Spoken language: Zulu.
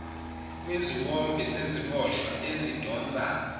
kweziwombe zeziboshwa ezidonsa